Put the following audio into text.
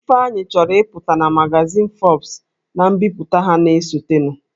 Ifeanyi chọrọ ịpụta na magazin Forbes na mbipụta ha na-esotenụ